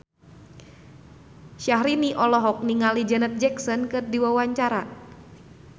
Syahrini olohok ningali Janet Jackson keur diwawancara